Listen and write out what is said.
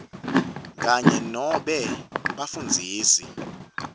kanye nobe bafundzisi